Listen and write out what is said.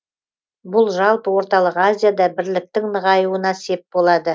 бұл жалпы орталық азияда бірліктің нығаюына сеп болады